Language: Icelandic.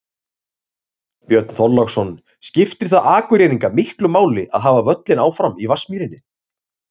Björn Þorláksson: Skiptir það Akureyringa miklu máli að hafa völlinn áfram í Vatnsmýrinni?